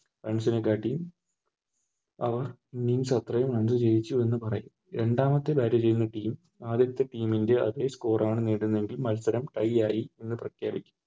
Runs നെക്കാട്ടിയും അവർ അത്രേം ജയിച്ചു എന്ന് പറയും രണ്ടാമത്തെ Bat ചെയ്യുന്ന Team ആദ്യത്തെ Team ൻറെ അതെ Score ആണ് നേടുന്നതെങ്കിൽ മത്സരം Tie ആയി എന്ന് പ്രഖ്യപിക്കും